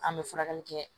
An bɛ furakɛli kɛ